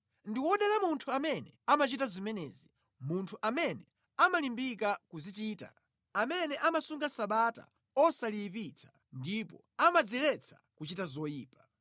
Ndi wodala munthu amene amachita zimenezi, munthu amene amalimbika kuzichita, amene amasunga Sabata osaliyipitsa, ndipo amadziletsa kuchita zoyipa.”